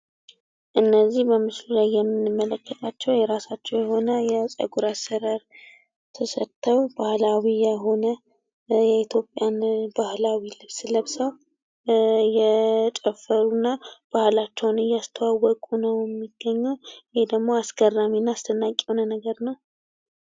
እነዚህ በምስሉ ላይ የምንመልከታቸው የራሳቸው የሆነ የጸጉር አሰራር ተሰርተው ባህላዊ የሆነ የኢትዮጵያ ባህላዊ ልብስ ለብሰው እየጨፈሩ እና ባህላቸውን እያስተዋወቁ ነው የሚገኙት። ይህ ደግሞ አስገራሚ እና አስደናዊ የሆነ ነገር ነው።